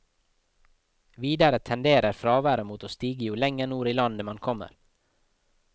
Videre tenderer fraværet mot å stige jo lenger nord i landet man kommer.